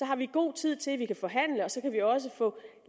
har vi god tid til at forhandle og så kan vi jo også få